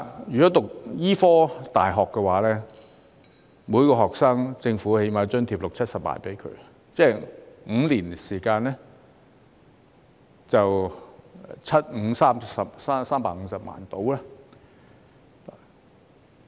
以醫科大學為例，政府最少津貼每名學生六七十萬元，即5年時間大約需要350萬元。